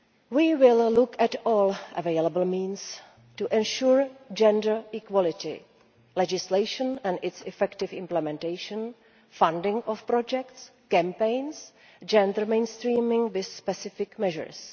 EU. We will look at all available means of ensuring gender equality legislation and its effective implementation, funding of projects and campaigns, and gender mainstreaming with specific measures.